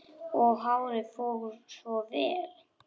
Og hárið fór svo vel!